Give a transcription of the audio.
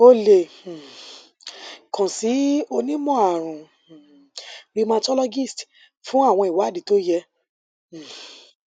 o le um kan si onimọarun um rheumatologist fun awọn iwadii to yẹ um